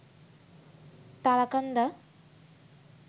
Tarakanda